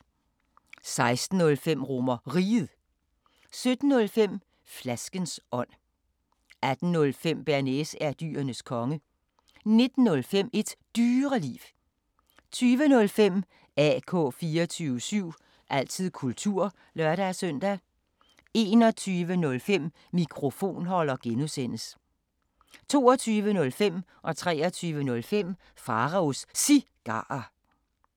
16:05: RomerRiget 17:05: Flaskens ånd 18:05: Bearnaise er Dyrenes Konge 19:05: Et Dyreliv 20:05: AK 24syv – altid kultur (lør-søn) 21:05: Mikrofonholder (G) 22:05: Pharaos Cigarer 23:05: Pharaos Cigarer